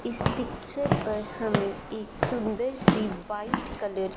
इस पिक्चर पर हमें एक सुंदर सी व्हाइट कलर --